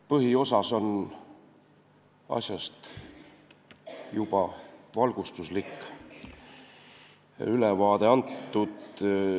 Põhiosas on asjast juba valgustuslik ülevaade antud.